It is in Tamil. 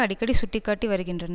அடிக்கடி சுட்டி காட்டி வருகின்றனர்